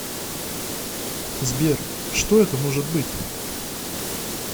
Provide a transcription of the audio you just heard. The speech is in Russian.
сбер что это может быть